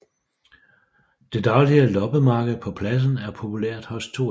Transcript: Det daglige loppemarked på pladsen er populært hos turister